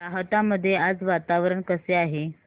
राहता मध्ये आज वातावरण कसे आहे